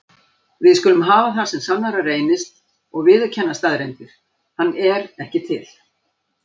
Við skulum hafa það sem sannara reynist og viðurkenna staðreyndir: hann er ekki til.